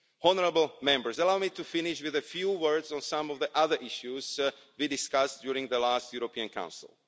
Honourable Members, allow me to finish with a few words on some of the other issues we discussed during the last European Council.